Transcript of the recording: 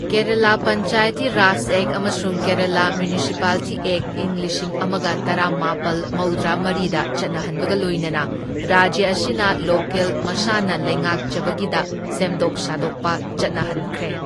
Kerala Panchayati Raj act ꯑꯃꯁꯨꯡ Kerala municipality act ꯏꯪ ꯂꯤꯁꯤꯡ ꯑꯃꯒ ꯇꯔꯥꯃꯥꯄꯜ ꯃꯧꯗ꯭ꯔꯥꯃꯔꯤꯗ ꯆꯠꯍꯟꯕꯒ ꯂꯣꯏꯅꯅ ꯔꯥꯖ꯭ꯌ ꯑꯁꯤꯅ ꯂꯣꯀꯦꯜ ꯃꯁꯥꯅ ꯂꯩꯉꯥꯛꯆꯕꯒꯤꯗ ꯁꯦꯝꯗꯣꯛ ꯁꯥꯗꯣꯛꯄ ꯆꯠꯅꯍꯟꯈ꯭ꯔꯦ꯫